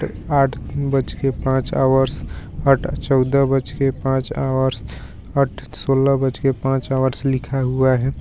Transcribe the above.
आठ बजके पांच हावर्स आँठ चौदह बजके पांच हावर्स सोला बजके पांच हावर्स लिखा हुआ है.